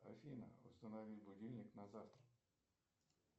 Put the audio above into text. афина установи будильник на завтра